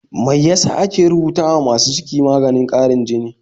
Mai yasa ake rubuta wa masu ciki maganin ƙarin jini?